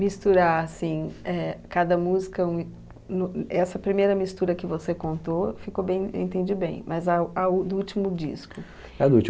Misturar assim é, cada música um, no e, é, essa primeira mistura que você contou, ficou bem, eu entendi bem, mas a, a o do último disco.